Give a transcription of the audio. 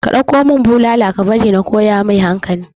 ka ɗauko mun bulala ka bari na koya mai hankali